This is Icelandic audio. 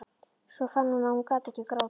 Svo fann hún að hún gat ekki grátið.